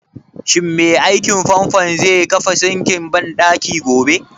Shin mai aikin fanfon zai kafa sinkin banɗakin gobe?